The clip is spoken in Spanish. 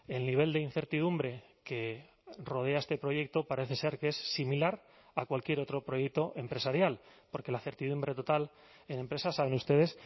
el nivel de incertidumbre que rodea este proyecto parece ser que es similar a cualquier otro proyecto empresarial porque la certidumbre total en empresas saben ustedes